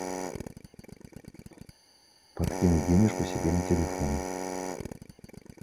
подкинуть денежку себе на телефон